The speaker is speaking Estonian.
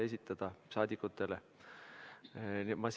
Ma lihtsalt jätan selle ütlemata.